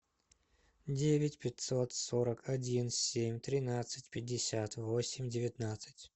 девять пятьсот сорок один семь тринадцать пятьдесят восемь девятнадцать